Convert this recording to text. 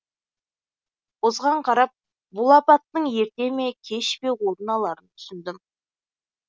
осыған қарап бұл апаттың ерте ме кеш пе орын аларын түсіндім